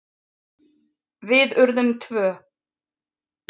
Við urðum tvö.